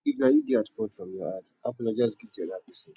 if na you dey at fault from your heart apologize give di oda person